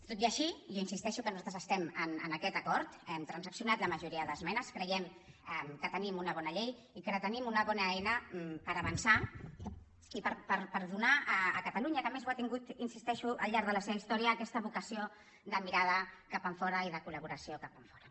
tot i així jo insisteixo que nosaltres estem en aquest acord hem transaccionat la majoria d’esmenes creiem que tenim una bona llei i que tenim una bona eina per avançar i per donar a catalunya que a més ho ha tingut hi insisteixo al llarg de la seva història aquesta vocació de mirada cap enfora i de col·laboració cap enfora